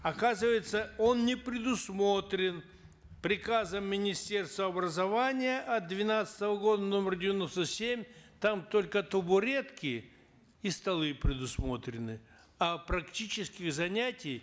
оказывается он не предусмотрен приказом министерства образования от двенадцатого года номер девяносто семь там только табуретки и столы предусмотрены а практических занятий